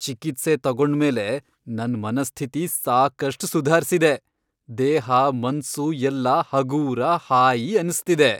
ಚಿಕಿತ್ಸೆ ತಗೊಂಡ್ಮೇಲೆ ನನ್ ಮನಸ್ಥಿತಿ ಸಾಕಷ್ಟ್ ಸುಧಾರ್ಸಿದೆ.. ದೇಹ ಮನ್ಸು ಎಲ್ಲ ಹಗೂರ, ಹಾಯಿ ಅನ್ಸ್ತಿದೆ.